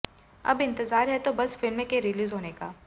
अब इंतज़ार है तो बस फिल्म के रिलीज़ होने का